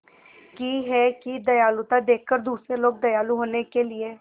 की है कि दयालुता देखकर दूसरे लोग दयालु होने के लिए